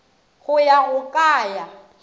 go ya go ka ya